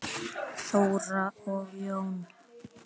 Þóra og Jón.